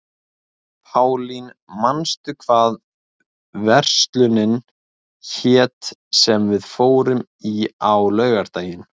Pálín, manstu hvað verslunin hét sem við fórum í á laugardaginn?